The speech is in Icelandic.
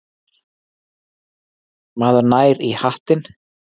Maður nær í hattinn.